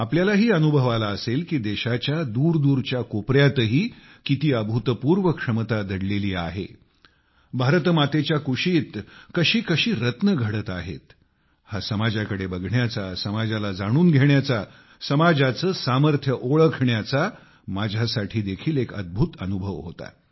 आपल्यालाही अनुभव आला असेल की देशाच्या दूरदूरच्या कोपऱ्यातही किती अभूतपूर्व क्षमता दडलेली आहे भारत मातेच्या कुशीत कशी कशी रत्ने घडत आहेत हा समाजाकडे बघण्याचा समाजाला जाणून घेण्याचा समाजाचे सामर्थ्य ओळखण्याचा माझ्यासाठी देखील एक अद्भुत अनुभव होता